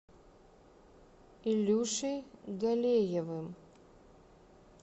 ильюшей галеевым